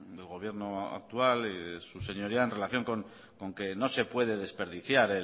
del gobierno actual y de su señoría en relación con que no se puede desperdiciar